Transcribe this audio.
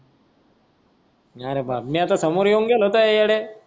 अरे बाप! मी तर सोमोर येऊन गेलो त्या वेळा